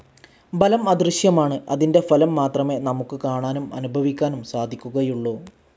ബലം അദൃശ്യമാണ്‌ അതിന്റെ ഫലം മാത്രമേ നമുക്ക് കാണാനും അനുഭവിക്കാനും സാധിക്കുകയുള്ളൂ.